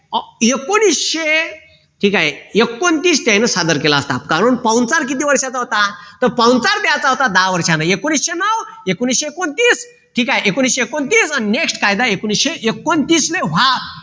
एकोणविशे ठीक आहे एकोणतीस त्यांनी सादर केला असता कारण पाहुणचार किती वर्षाचा होता तर पाहुणचार द्यायचा होता दहा वर्षांनी एकोणविशे नऊ एकोणविशे एकोणतीस ठीक आहे एकोणविशे एकोणतीस आणि next कायदा एकोणविशे एकोणतीस ने